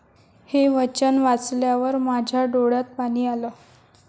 हे वचन वाचल्यावर माझ्या डोळ्यात पाणी आलं.